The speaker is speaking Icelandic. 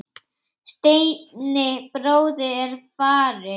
Steini bróðir er farinn.